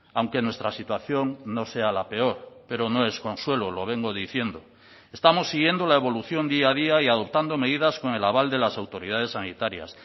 aunque nuestra situación no sea la peor pero no es consuelo lo vengo diciendo estamos siguiendo la evolución día a día y adoptando medidas con el aval de las autoridades sanitarias